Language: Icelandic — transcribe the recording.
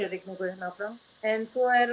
rigningu hérna áfram en